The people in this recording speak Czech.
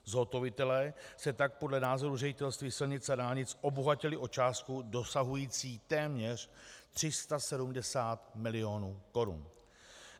Zhotovitelé se tak podle názoru Ředitelství silnic a dálnic obohatili o částku dosahující téměř 370 milionů korun.